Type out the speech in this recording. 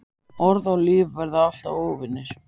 Orð og líf verða alltaf óvinir.